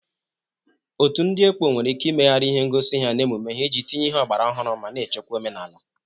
Otu ndị ekpo nwere ike imegharị ihe ngosi ha na emume ha iji tinye ihe ọgbara ọhụrụ ma na-echekwa omenala.